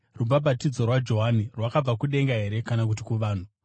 ‘Rubhabhatidzo rwaJohani rwakabva kudenga here kana kuti kuvanhu?’ ”